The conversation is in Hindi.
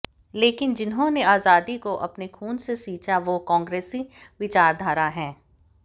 लेकिन जिन्होंने आजादी को अपने खून से सींचा वो कांग्रेसी विचारधारा है